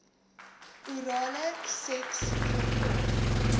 orale seks voorkom